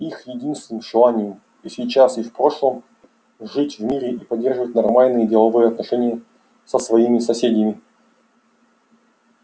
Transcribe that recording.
их единственное желание и сейчас и в прошлом жить в мире и поддерживать нормальные деловые отношения со своими соседями